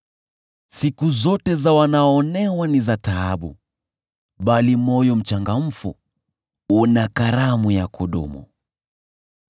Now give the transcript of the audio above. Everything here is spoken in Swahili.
Siku zote za wanaoonewa ni za taabu, bali moyo mchangamfu una karamu ya kudumu.